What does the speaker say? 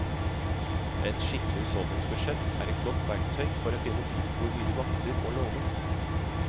Et skikkelig husholdningsbudsjett er et godt verktøy for å finne ut hvor mye du makter å låne.